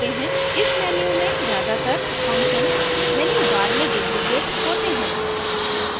इस menu में ज़्यादातर functions menu bar में duplicated होते हैं